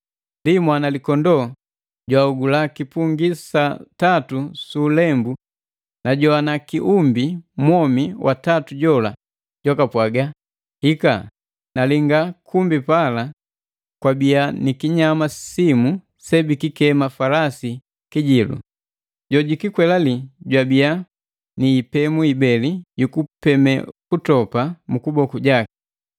Ndi Mwanalikondoo jwahogula kipungi sa tatu su ulembu. Najowana kiumbi mwomi watatu jola jwaka pwaga, “Hika!” Nalinga kumbi pala kwabia ni kinyama simu sebikikema falasi kijilu. Jojukikwelale jwabia ni ipemu ibeli yu kupeme kutopa mu kuboku jaki.